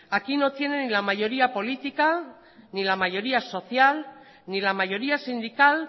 aquí no tiene ni la mayoría política ni la mayoría social ni la mayoría sindical